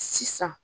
Sisan